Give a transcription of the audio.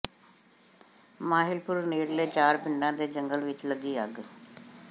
ਮਾਹਿਲਪੁਰ ਨੇੜਲੇ ਚਾਰ ਪਿੰਡਾਂ ਦੇ ਜੰਗਲ ਵਿਚ ਲੱਗੀ ਅੱਗ